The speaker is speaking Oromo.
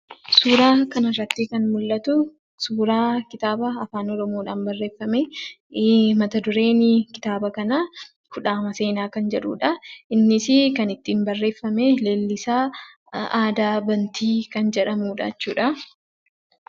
Suuraa kana irratti kan mul'atu, suuraa kitaaba Afaan Oromoodhaan barreeffame; mata-dureen kitaaba kanaa kudhaama seenaa kan jedhuudha. Innis kan ittiin barreeffame Leellisaa Aadaa Bantii kan jedhamuudha jechuudha.